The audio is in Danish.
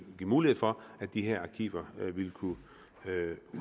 mulighed for at de her arkiver kunne